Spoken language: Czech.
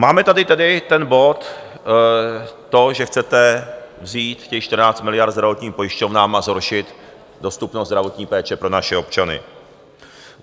Máme tady tedy ten bod, to, že chcete vzít těch 14 miliard zdravotním pojišťovnám a zhoršit dostupnost zdravotní péče pro naše občany.